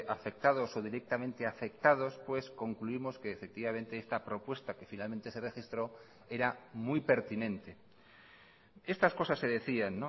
afectados o directamente afectados pues concluimos que efectivamente esta propuesta que finalmente se registró era muy pertinente estas cosas se decían